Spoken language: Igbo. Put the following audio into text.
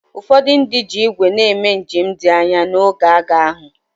Ụfọdụ ndị ji ígwè na-eme njem dị anya n’oge agha ahụ.